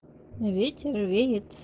ветер веет